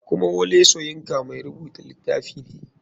Kuma wole soyinka mai rubuta litafi ne.